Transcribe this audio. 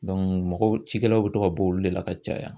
mɔgɔw cikɛlaw bɛ to ka bɔ olu le la ka caya.